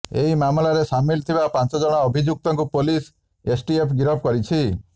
ଏହି ମାମଲାରେ ସାମିଲ ଥିବା ପାଞ୍ଚଜଣ ଅଭିଯୁକ୍ତକୁ ପୁଲିସ୍ ଏସ୍ଟିଏଫ୍ ଗିରଫ କରିଛି